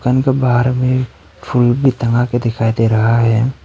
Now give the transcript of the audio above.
बाहर में फूल भी टंगा के दिखाई दे रहा है।